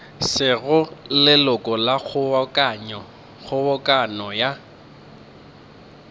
sego leloko la kgobokano ya